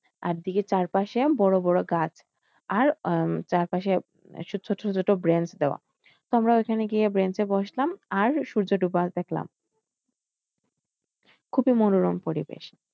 আর দীঘির চারপাশে বড় বড় গাছ আর উম চারপাশে ছোট ছোট bench দেওয়া তো আমরা ওইখানে গিয়ে ব্র্যাঞ্চে বসলাম আর সূর্য ডোবা দেখলাম খুবই মনোরম পরিবেশ।